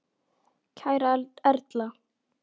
Kæra Erla.